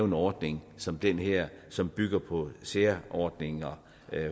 en ordning som den her som bygger på særordninger